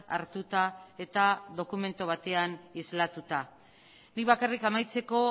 hartuta eta dokumentu batean isladatuta nik bakarrik amaitzeko